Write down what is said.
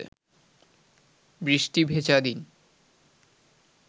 বৃষ্টি ভেজা দিন